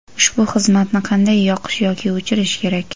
Ushbu xizmatni qanday yoqish yoki o‘chirish kerak?.